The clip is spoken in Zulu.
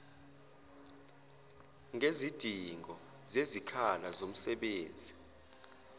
ngezidingo zezikhala zomsebenzi